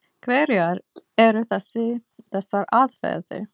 Hverjar eru þessar aðferðir?